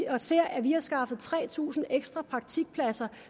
og ser at vi har skaffet tre tusind ekstra praktikpladser